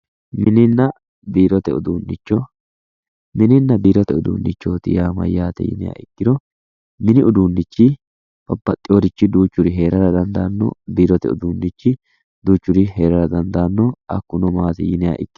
mininna biirote uduunnicho mininna biirote uduunnicho yaa mayyaate yiniha ikkiro, mini uduunnichi babbaxinorichi duuchuri heerara dandaanno, biirote uduunnichi duuchuri heerara dandaanno hakkuno maati yiniha ikkiro ...